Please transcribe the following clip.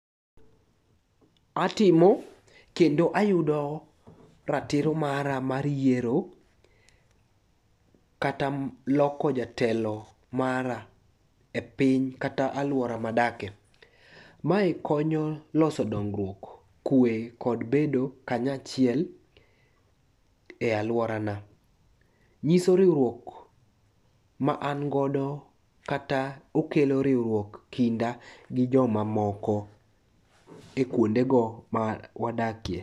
Atimo kendo ayudo ratiro mara mar yiero kata loko jatelo mara e piny kata alwora madake. Mae konyo loso dongruok, kwe kod bedo kanyachiel e alworana. Nyiso riwruok ma an godo kata okelo riwruok kinda gi jomamoko e kuondego ma wadakie.